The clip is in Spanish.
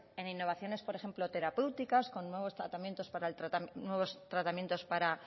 en innovaciones por ejemplo terapéuticas con nuevos tratamientos para